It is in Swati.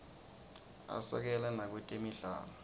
asekela nakwetemidlalo